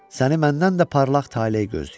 Səni məndən də parlaq taley gözləyir.